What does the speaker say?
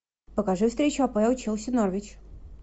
покажи встречу апл челси норвич